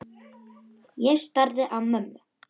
Ég starði á mömmu.